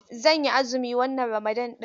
Zan yi azumi wannan Ramadan ɗin.